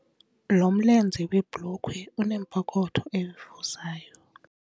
Lo mlenze webhulukhwe unepokotho evuzayo.